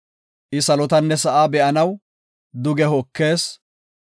I salotanne sa7aa be7anaw duge hokees.